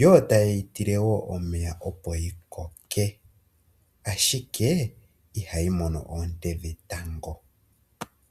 yo taye yi tile wo omeya opo yi koke, ashike ihayi mono oonte dhetango.